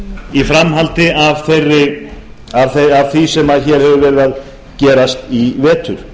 í framhaldi af því sem hefur verið að gerast í vetur